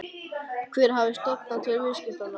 Hver hafi stofnað til viðskiptanna?